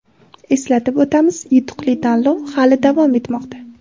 Eslatib o‘tamiz, yutuqli tanlov hali davom etmoqda.